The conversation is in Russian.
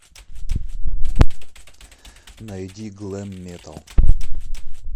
найди глэм метал